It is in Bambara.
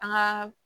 An ka